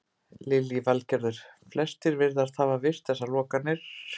Lillý Valgerður: Flestir virðast hafa virt þessar lokanir?